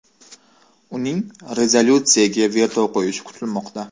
Uning rezolyutsiyaga veto qo‘yishi kutilmoqda.